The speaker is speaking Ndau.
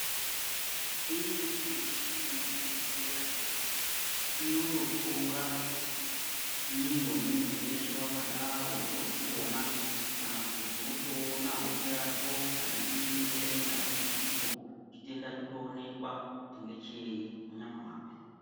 Imweni michini yemuzvhibhehlera inototora mwiiri wemuntu weshe wakadaro wotozviona kana kuti wotoona hope yako kana iriyo inenga ine dambudziko chitenda chotoonekwa kuti ndechei munyama mwako.